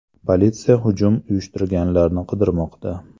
Politsiya hujum uyushtirganlarni qidirmoqda.